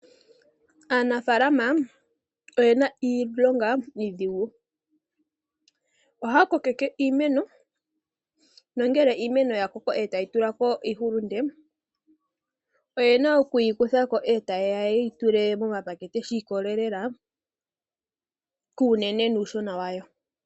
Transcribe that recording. Aanafaalama oyena iilonga iidhigu. Ohaya kokeke iimeno nongele iimeno ya koko e ta yi tula ko iihulunde oyena oku yi kutha ko e ta yeya yeyi tule momapakete shi ikolelela kuunene nuushona wayo.